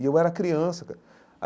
E eu era criança.